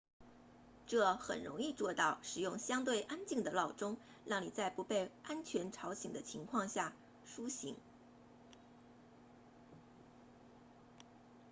这很容易做到使用相对安静的闹钟让你在不被完全吵醒的情况下苏醒